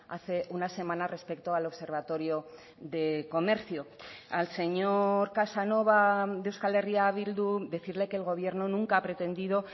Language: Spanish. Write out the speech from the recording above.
hace una semana respecto al observatorio de comercio al señor casanova de euskal herria bildu decirle que el gobierno nunca ha pretendido